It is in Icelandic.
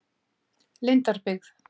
Lindarbyggð